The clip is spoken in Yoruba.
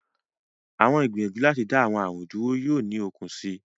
Awọn igbiyanju lati da awọn arun dúrú yoo ni okun sii